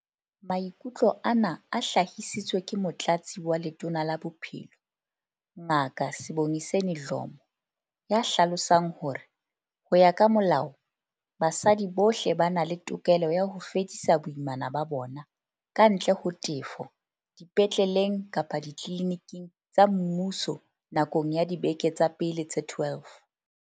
Maikutlo ana a hlahisitswe ke Motlatsi wa Letona la Bophelo, Ngaka Sibongiseni Dhlomo, ya hlalosang hore, ho ya ka molao, basadi bohle ba na le tokelo ya ho fedisa boimana ba bona, kantle ho tefo, dipetleleng kapa ditliliniking tsa mmuso nakong ya dibeke tsa pele tse 12.